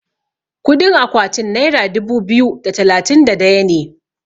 kudin akwaatin naira dubu biyu da talatin da daya ne